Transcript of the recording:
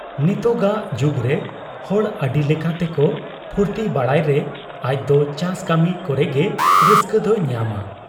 ᱱᱤᱛᱚᱜᱟᱜ ᱡᱩᱜᱽᱨᱮ ᱦᱚᱲ ᱟᱹᱰᱤ ᱞᱮᱠᱟ ᱛᱮᱠᱚ ᱯᱷᱨᱛᱤ ᱵᱟᱲᱟᱭ ᱨᱮ ᱟᱡᱫᱚ ᱪᱟᱥ ᱠᱟᱹᱢᱤ ᱠᱚᱨᱮᱜᱮ ᱨᱟᱹᱥᱠᱟᱹ ᱫᱚᱭ ᱧᱟᱢᱟ ᱾